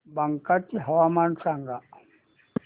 बांका चे हवामान सांगा